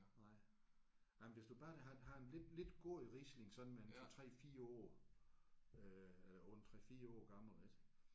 Nej nej men hvis du bare har har en lidt lidt god Riesling sådan med en 2 3 4 år øh eller på en 3 4 år gammel ik